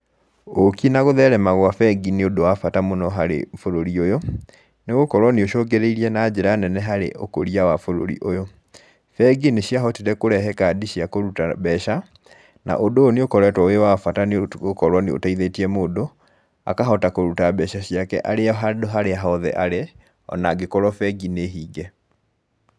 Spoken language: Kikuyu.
Ũki na gutherema gwa bengi nĩ ũndũ wa bata mũno harĩ bũrũri ũyũ, nĩ gũkorwo nĩ ũcũngĩrĩirie na njĩra nene harĩ ũkũria wa bũrũri ũyũ. Bengi nĩ ciahotire kũrehe kandi cia kũruta mbeca, na ũndũ ũyũ nĩ wa bata nĩ gũkorwo nĩ ũteithĩtie mũndũ, akahota kũruta mbeca ciake arĩ o handũ harĩa hothe arĩ, ona angĩkorwo bengi nĩ hinge